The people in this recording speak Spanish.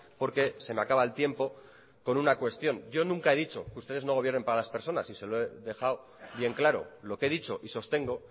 porque se me acaba el tiempo con una cuestión yo nunca he dicho que ustedes no gobiernen para las personas y se lo he dejado bien claro lo que he dicho y sostengo